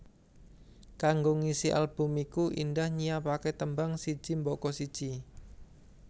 Kanggo ngisi album iku Indah nyiapaké tembang siji mbaka siji